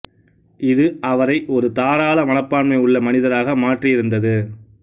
இது அவரை ஒரு தாராள மனப்பான்மை உள்ள மனிதராக மாற்றியிருந்தது